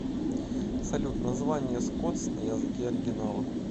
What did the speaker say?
салют название скотс на языке оригинала